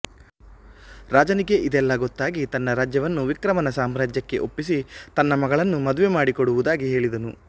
ರಾಜನಿಗೆ ಇದೆಲ್ಲಾ ಗೊತ್ತಾಗಿ ತನ್ನ ರಾಜ್ಯವನ್ನು ವಿಕ್ರಮನ ಸಾಮ್ರಾಜ್ಯಕ್ಕೆ ಒಪ್ಪಿಸಿ ತನ್ನ ಮಗಳನ್ನು ಮದುವೆ ಮಾಡಿ ಕೊಡುವುದಾಗಿ ಹೇಳಿದನು